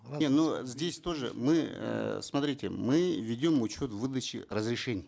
не ну здесь тоже мы эээ смотрите мы ведем учет выдачи разрешений